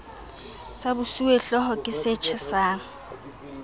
sa bosuwehlooho ke se tjhesang